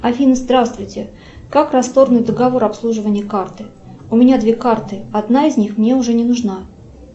афина здравствуйте как расторгнуть договор обслуживания карты у меня две карты одна из них мне уже не нужна